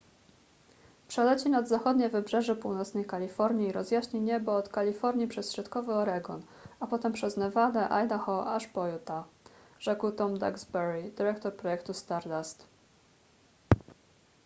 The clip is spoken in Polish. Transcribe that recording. przeleci nad zachodnie wybrzeże północnej kalifornii i rozjaśni niebo od kalifornii przez środkowy oregon a potem przez nevadę idaho aż po utah rzekł tom duxbury dyrektor projektu stardust